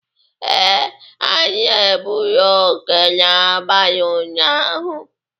ee, anyị egbughị oke n’abalị ụnyaahụ